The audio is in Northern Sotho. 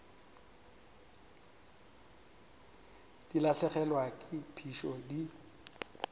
di lahlegelwa ke phišo di